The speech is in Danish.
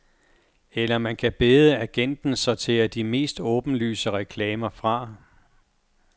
Eller man kan bede agenten sortere de mest åbenlyse reklamer fra.